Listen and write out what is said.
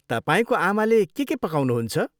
तपाईँको आमाले के के पकाउनुहुन्छ?